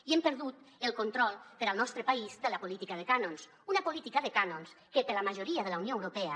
i hem perdut el control per al nostre país de la política de cànons una política de cànons que per a la majoria de la unió europea